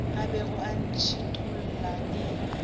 e bego e ntšhithola e